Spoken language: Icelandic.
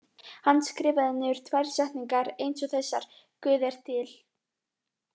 Hann skrifaði niður tvær setningar eins og þessar: Guð er til.